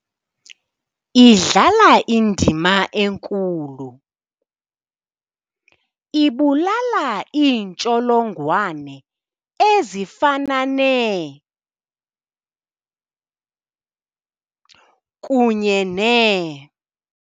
] idlala indima enkulu ]. Ibulala iintsholongwane ezifana nee] kunye nee ].